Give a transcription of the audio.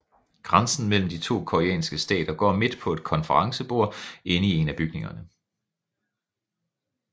Grænsen mellem de to koreanske stater går midt på et konferencebord inde i en af bygningerne